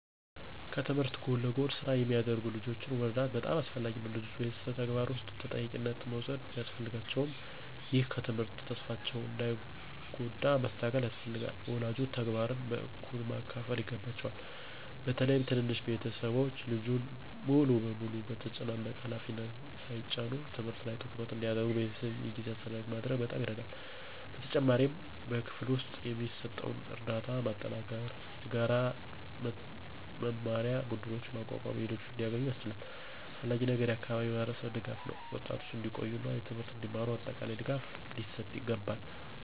ከትምህርት ጎን ለጎን ስራ የሚያደርጉ ልጆችን መርዳት በጣም አስፈላጊ ነው። ልጆች በቤተሰብ ተግባር ውስጥ ተጠያቂነት መውሰድ ቢያስፈልጋቸውም፣ ይህ ከትምህርት ተስፋቸውን እንዳይጎዳ ማስተካከል ያስፈልጋል። ወላጆች ተግባርን በእኩል ማካፈል ይገባቸዋል፣ በተለይም ትንንሽ ቤተሰቦች ልጁን ሙሉ በሙሉ በተጨናነቀ ሃላፊነት ሳይጭኑ። ትምህርት ላይ ትኩረት እንዲያደርጉ በቤተሰብ የጊዜ አስተዳደር ማድረግ በጣም ይረዳል። በተጨማሪም በክፍል ውስጥ የሚሰጠውን ርዳታ በማጠናከር፣ የተጋራ መማር ቡድኖችን በማቋቋም ልጆች እንዲያገኙ ያስችላል። አስፈላጊው ነገር የአካባቢ ማህበረሰብ ድጋፍ ነው፤ ወጣቶች እንዲቆዩ እና ትምህርትን እንዲማሩ አጠቃላይ ድጋፍ ሊሰጥ ይገባል።